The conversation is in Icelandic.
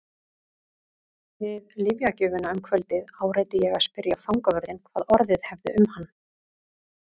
Við lyfjagjöfina um kvöldið áræddi ég að spyrja fangavörðinn hvað orðið hefði um hann.